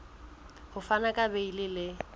ho fana ka beile le